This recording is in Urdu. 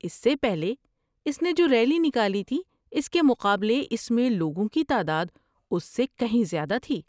اس سے پہلے اس نے جو ریلی نکالی تھی اس کے مقابلے اس میں لوگوں کی تعداد اس سے کہیں زیادہ تھی۔